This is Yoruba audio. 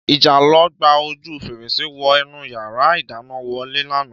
Ìjàlọ gba ojú fèrèsé wọ inú yàrá ìdáná wọlé lánàá